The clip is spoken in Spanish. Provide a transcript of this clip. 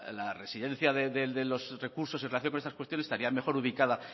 la residencia de los recursos en relación con estas cuestiones estaría mejor ubicada